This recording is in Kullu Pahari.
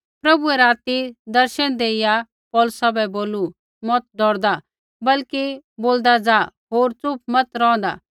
प्रभुऐ राती दर्शन देइया पौलुसा बै बोलू मत डौरदा बल्कि बोलदा ज़ा होर च़ुप मत रौंहदा